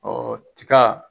tiga